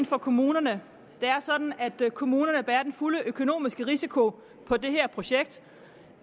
for kommunerne det er sådan at kommunerne bærer den fulde økonomiske risiko for det her projekt